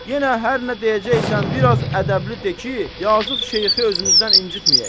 Yenə hər nə deyəcəksən biraz ədəbli de ki, yazıq şeyxi özümüzdən incitməyək.